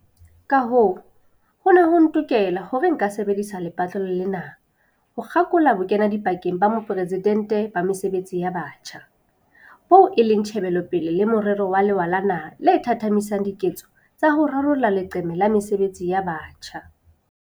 Kahoo, ho ne ho ntokela hore nka sebedisa lepatlelo lena ho kgakola Bokenadipakeng ba Moporesidente ba Mesebetsi ya Batjha, boo e leng tjhebelopele le morero wa lewa la naha le thathamisang diketso tsa ho rarolla leqeme la mesebetsi ya batjha.